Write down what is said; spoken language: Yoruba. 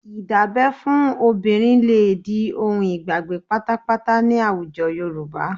Dídábẹ́ fún obìnrin lè di ohun ìgbàgbé pátápátá ní àwùjọ Yorùbá